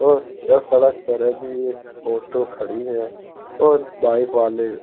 और यह सड़क पर अभी एक ऑटो खड़ी है और बाइक वाले --